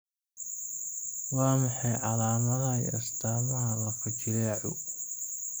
Waa maxay calaamadaha iyo astaamaha lafo-jileecu?